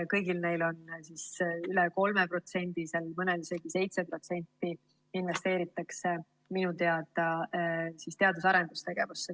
Kõigil neil üle 3%, mõnel isegi 7% investeeritakse minu teada teadus‑ ja arendustegevusse.